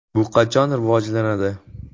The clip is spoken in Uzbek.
Bu qachon rivojlanadi?